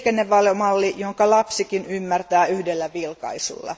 liikennevalomalli, jonka lapsikin ymmärtää yhdellä vilkaisulla.